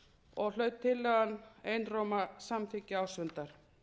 og hlaut tillagan hlaut einróma samþykki ársfundar